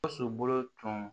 Gawusu bolo tun